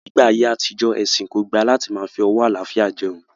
Ní ayé àtijó, ẹ̀sìn kò gbà láti máa fi ọwó àlàáfíà jeun